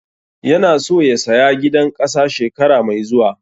Yana so ya saya gidan ƙasa shekara mai zuwa